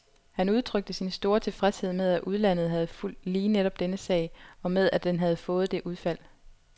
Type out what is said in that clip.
Han udtrykte sin store tilfredshed med at udlandet havde fulgt lige netop denne sag, og med at den havde fået det udfald.